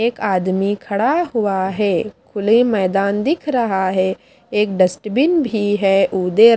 एक आदमी खड़ा हुआ है खुले मैदान दिख रहा है एक डस्टबिन भी है उदय--